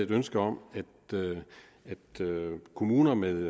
ønske om at kommuner med